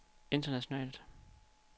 internationalt